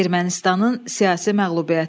Ermənistanın siyasi məğlubiyyəti.